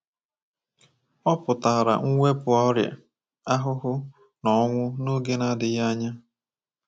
Ọ pụtara mwepụ ọrịa, ahụhụ, na ọnwụ n’oge na-adịghị anya.